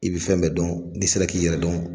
I bɛ fɛn bɛɛ dɔn, n'i sera k'i yɛrɛ dɔn.